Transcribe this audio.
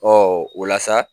Ɔ o la sa